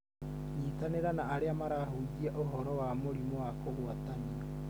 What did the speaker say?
nyitanĩra na arĩa marahujia ũhoro wa mũrimũ wa kũgwatanio